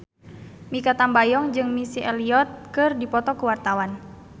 Mikha Tambayong jeung Missy Elliott keur dipoto ku wartawan